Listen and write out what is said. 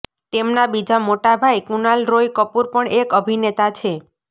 તેમના બીજા મોટા ભાઈ કુનાલ રોય કપૂર પણ એક અભિનેતા છે